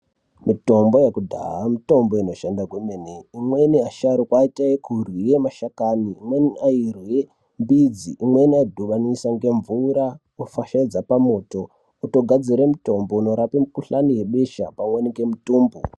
Mitombo yekudhaya mitombo inoshanda kwemene imweni asharukwa aita yekurwira mashakani imweni airwira midzi imweni aidhibanisa ngemvura votofashaidza pamoto votogadzira mutombo unorapa Mukuhlani webesha pamweni nemutumbu.